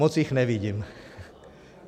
Moc jich nevidím.